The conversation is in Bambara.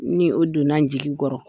Ni o donna n jigi kɔrɔ.